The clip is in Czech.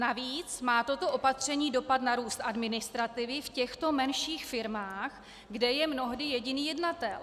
Navíc má toto opatření dopad na růst administrativy v těchto menších firmách, kde je mnohdy jediný jednatel.